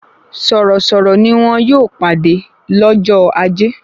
Sọ̀rọ̀-sọ̀rọ̀ ni wọ́n yóò pàdé lọ́jọ́ ajé